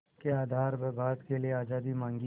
के आधार पर भारत के लिए आज़ादी मांगी